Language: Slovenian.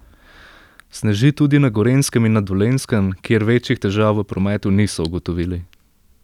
Sneži tudi na Gorenjskem in na Dolenjskem, kjer večjih težav v prometu niso ugotovili.